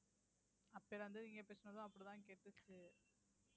அப்பையில இருந்து நீங்க பேசுனதும் அப்படிதான் கேட்டுச்சு